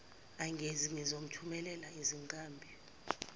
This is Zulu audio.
engezi ngizomthumelela izinkabi